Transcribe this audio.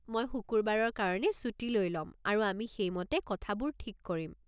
মই শুকুৰবাৰৰ কাৰণে ছুটী লৈ লম আৰু আমি সেইমতে কথাবোৰ ঠিক কৰিম।